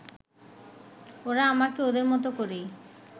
ওরা আমাকে ওদের মতো করেই